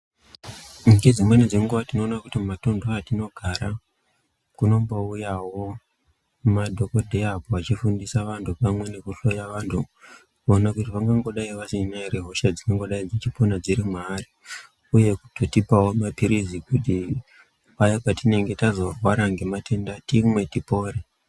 Ngedzimweni dzenguwa tinoona kuti matuntu atinogara kunombouyawo madhokodheya vachifundisa antu pamwe nekuhloya antu kuti vangangodai vasina ere hosha dzingangodai dzeipona dziri mwaari. Uye kutotipawo maphirizi kuti paya patinenge tazorwara ngematenda timwe tipore.